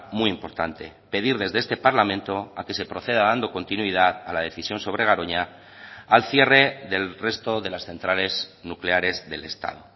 muy importante pedir desde este parlamento a que se proceda dando continuidad a la decisión sobre garoña al cierre del resto de las centrales nucleares del estado